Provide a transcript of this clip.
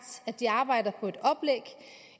at de arbejder på